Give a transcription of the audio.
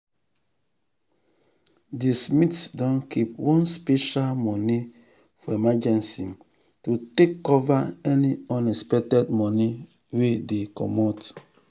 the smiths don keep one special money for emergency to take cover any unexpected money wey dey comot.